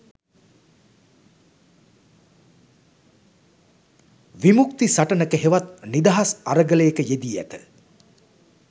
විමුක්ති සටනක හෙවත් නිදහස් අරගලයක යෙදී ඇත